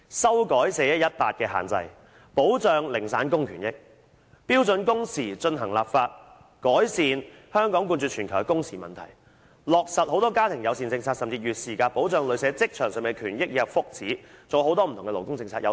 修改 "4-1-18" 的限制，保障零散工的權益；標準工時進行立法，改善香港冠絕全球的工時問題；落實更多家庭友善政策甚至設定"月事假"，保障女性在職場上的權益及福祉；還有很多不同的勞工政策，有待我們一一實現。